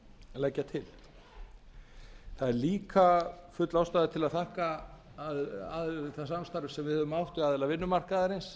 leggja til það er líka full ástæða til að þakka það samstarf sem við höfum átt við aðila vinnumarkaðarins